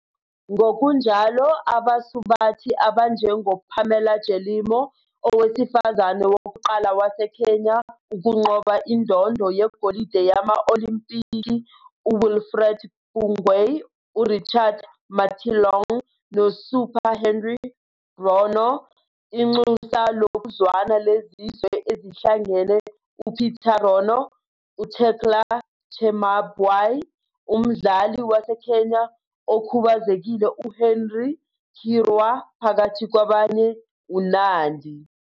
Ngokunjalo, abasubathi abanjengoPamela Jelimo, owesifazane wokuqala waseKenya ukunqoba indondo yegolide yama-Olimpiki, uWilfred Bungei, uRichard Mateelong noSuper Henry Rono, Inxusa Lokuzwana leZizwe Ezihlangene uPeter Rono, uTecla Chemabwai, umdlali waseKenya okhubazekile uHenry Kirwa phakathi kwabanye uNandi.